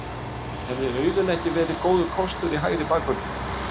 Hefði Auðun ekki verið góður kostur í hægri bakvörðinn?